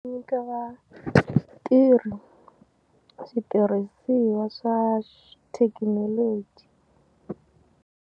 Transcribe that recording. Nyika vatirhi switirhisiwa swa thekinoloji.